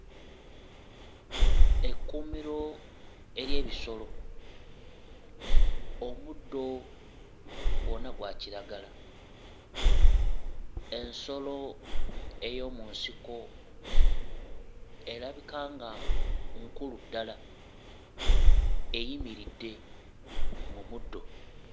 Ekkuumiro ery'ebisolo omuddo gwonna gwa kiragala ensolo ey'omu nsiko erabika nga nkulu ddala eyimiridde mu muddo.